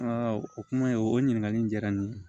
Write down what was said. o kuma in o ɲininkali in diyara n ye